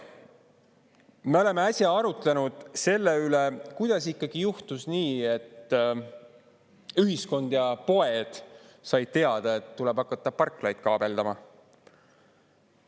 Me oleme äsja arutlenud selle üle, kuidas ikkagi juhtus nii, et ühiskond ja poed said teada, et tuleb hakata parklaid kaabeldama.